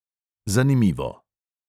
Zanimivo.